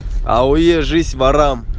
ауе жизнь ворам